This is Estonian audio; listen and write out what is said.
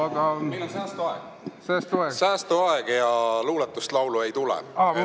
Aga meil on säästuaeg ja luuletust ja laulu ei tule.